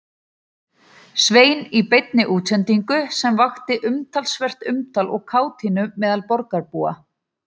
Svein í beinni útsendingu sem vakti talsvert umtal og kátínu meðal borgarbúa.